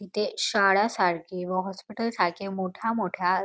तिथे शाळा सारखी व हॉस्पिटल सारखे मोठ्या मोठ्या --